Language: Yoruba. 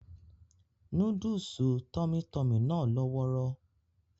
Núdúùsù Tummy tummy náà lọ́wọ́rọ́